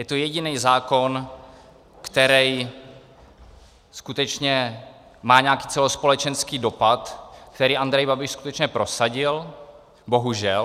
Je to jediný zákon, který skutečně má nějaký celospolečenský dopad, který Andrej Babiš skutečně prosadil, bohužel.